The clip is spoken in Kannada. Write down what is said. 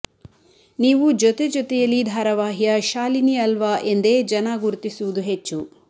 ನೀವು ಜೊತೆಜೊತೆಯಲಿ ಧಾರಾವಾಹಿಯ ಶಾಲಿನಿ ಅಲ್ವಾ ಎಂದೇ ಜನ ಗುರುತಿಸುವುದು ಹೆಚ್ಚು